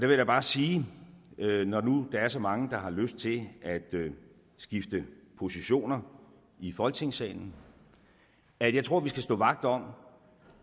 vil jeg bare sige når nu der er så mange der har lyst til at skifte positioner i folketingssalen at jeg tror at vi skal stå vagt om